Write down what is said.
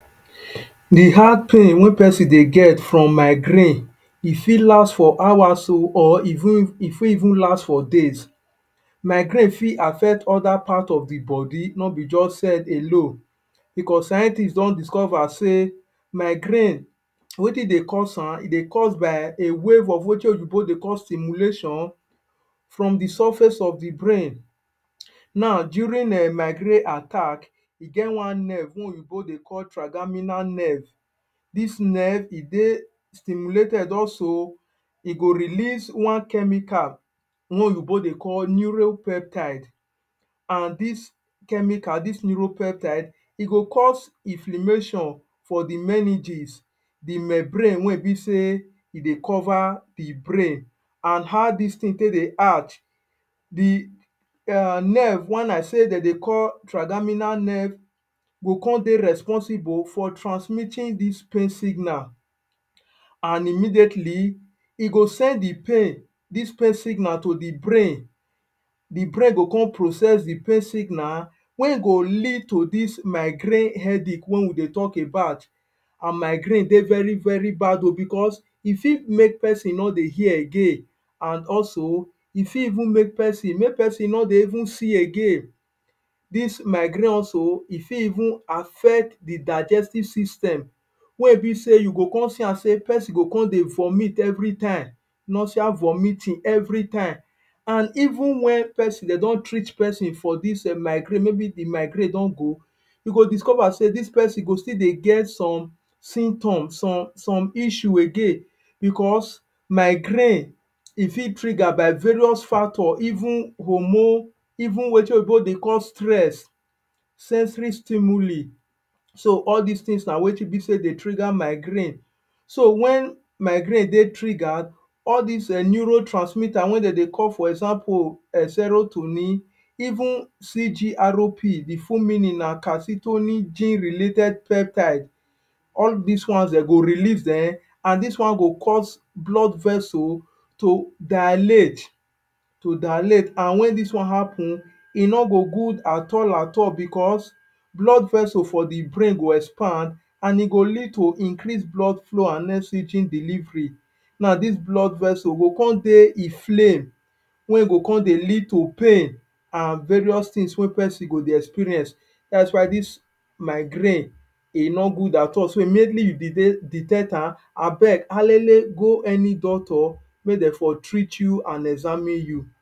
The hard pain wey peson dey get from migraine, e fit last for hours oh, or e fit even last for days. Migraine fit affect other part of the body, no be juz head alone. Becos scientist don discover sey migraine wetin dey cause am, e dey cause by a wave of wetin oyinbo dey call stimulation from the surface of the brain. Now, during um migraine attack, e get one nerve wey oyinbo dey call trigeminal nerve. Dis nerve, e dey stimulated also e go release one chemical wey oyinbo dey call neuropeptide. An dis chemical, dis neuropeptide e go cause inflammation for the meninges– the membrane wey e be sey e dey cover the brain. An how dis tin take dey add the um nerve wen I say de dey call trigeminal nerve go con dey responsible for transmitting dis pain signal an immediately, e go send the pain–dis pain signal– to the brain. The brain go con process the pain signal wey e go lead to dis migraine headache wey we dey talk about. An migraine dey very very bad oh becos e fit make peson no dey hear again. An also, e fit even make peson make peson no dey even see again. Dis migarine also, e fit even affect the digestive system wey e be sey you go con see am sey peson go con dey vomit everytime, nausea, vomiting everytime. An even wen peson de don treat peson for dis migraine maybe the migraine don go, you go discover sey dis peson go still dey get some symptoms, some some issue again. Becos migraine, e fit trigger by various factor even hormone, even wetin oyinbo dey call stress. sensory stimuli. So, all dis tins na wetin be sey dey trigger migraine So, wen migraine dey triggered, all dis um neurotransmitter wey de dey call for example um serotonin, even CGRP, the full meaning na Calcitonin Gene-Related Peptide, all dis ones de go release[um]an dis one go cause blood vessel to dilate to dilate. An wen dis one happen, e no go good at all at all becos blood vessel for the brain go expand an e go lead to increase blood flow an delivery. Now, dis blood vessel go con dey inflamme wey e go con dey lead to pain an various tins wey peson go dey experience. Dat is why dis migraine e no good at all. So, immediately you detect am, abeg, alele go any doctor make de for treat you an examine you.